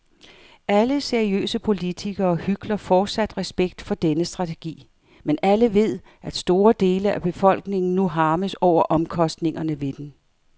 Alle seriøse politikere hykler fortsat respekt for denne strategi, men alle ved, at store dele af befolkningen nu harmes over omkostningerne ved den.